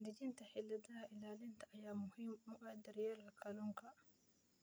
Dejinta xeeladaha ilaalinta ayaa muhiim u ah daryeelka kalluunka.